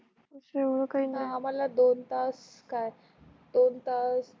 आम्हाल दोन तास काय दोन तास.